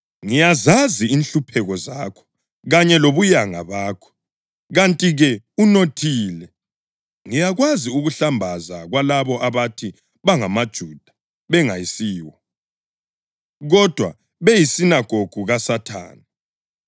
Ngiyazazi inhlupheko zakho kanye lobuyanga bakho, kanti-ke unothile! Ngiyakwazi ukuhlambaza kwalabo abathi bangamaJuda bengayisiwo, kodwa beyisinagogu kaSathane.